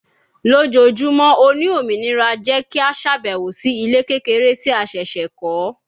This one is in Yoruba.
Lojoojumọ o ni ominira jẹ ki a ṣabẹwo si ile kekere ti a ṣẹṣẹ kọ